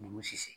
Ɲugu